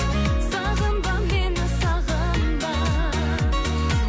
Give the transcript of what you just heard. сағынба мені сағынба